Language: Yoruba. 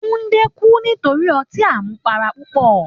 Tundé kú nítorí ọtí àmupara púpọ̀.